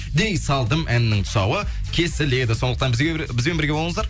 дей салдым әнінің тұсауы кесіледі сондықтан бізбен бірге болыңыздар